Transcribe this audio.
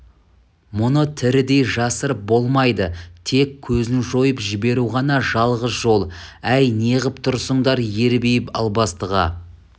мұны тірідей жасырып болмайды тек көзін жойып жіберу ғана жалғыз жол әй неғып тұрсыңдар ербиіп албастыға